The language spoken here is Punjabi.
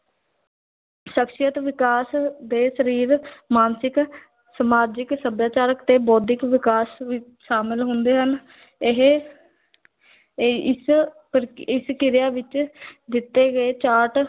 ਸ਼ਖ਼ਸੀਅਤ ਵਿਕਾਸ ਦੇ ਸਰੀਰ ਮਾਨਸਿਕ ਸਮਾਜਿਕ, ਸੱਭਿਆਚਾਰਕ ਤੇ ਬੌਧਿਕ ਵਿਕਾਸ ਵਿੱਚ ਸ਼ਾਮਿਲ ਹੁੰਦੇ ਹਨ ਇਹ ਇਹ ਇਸ ਪ੍ਰ ਇਸ ਕਿਰਿਆ ਵਿੱਚ ਦਿੱਤੇ ਗਏ ਚਾਰਟ